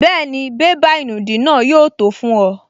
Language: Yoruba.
Bẹ́ẹ̀ni, bébà ìnùdí náà yóò tó fún ọ